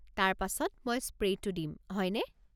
তাৰ পাছত মই স্প্ৰে'টো দিম, হয়নে?